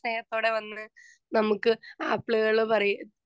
speaker 2 സ്നേഹത്തോടെ വന്ന് നമ്മുക്ക് ആപ്പിളുകള് പറയ്